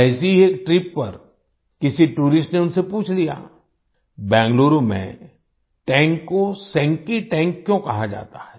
ऐसी ही एक ट्रिप पर किसी टूरिस्ट ने उनसे पूछ लिया बेंगलुरु में टैंक को सेंकी टैंक क्यों कहा जाता है